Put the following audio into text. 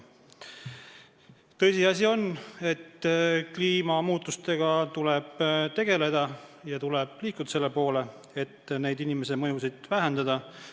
Tõsiasi on, et kliimamuutustega tuleb tegelda ja tuleb liikuda selle poole, et inimese mõju vähendada.